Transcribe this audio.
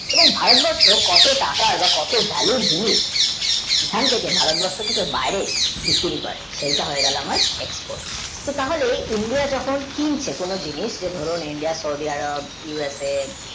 এবং ভাই বছরটা কত কার value চিনিস এখান থেকে ভারতবর্ষ থেকে বিক্রি করে সেই সেটা হয়ে গেল আমার export তো তাহলে India যখন কিনছে কোন জিনিস যে ধরুন India সৌদি আরব usএ